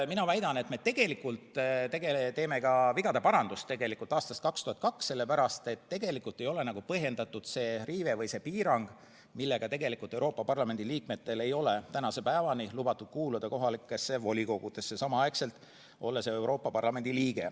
Mina väidan, et me tegelikult teeme 2002. aasta vigade parandust, sellepärast et tegelikult ei ole põhjendatud see piirang, millega Euroopa Parlamendi liikmetel ei ole tänase päevani lubatud kuuluda kohalikesse volikogudesse.